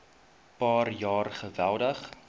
paar jaar geweldig